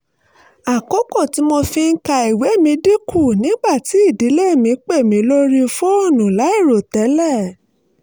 àkókò tí mo fi ń ka ìwé mi dín kù nígbà tí ìdílé mi pè mí lórí fóònù láìròtẹ́lẹ̀